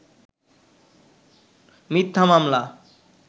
মিথ্যা মামলা